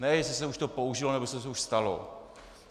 Ne jestli se to už použilo, nebo se to už stalo.